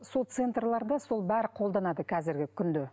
сол центрлерде сол бәрі қолданады қазіргі күнде